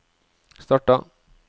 starta